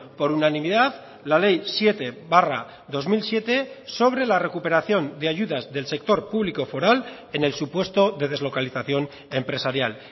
por unanimidad la ley siete barra dos mil siete sobre la recuperación de ayudas del sector público foral en el supuesto de deslocalización empresarial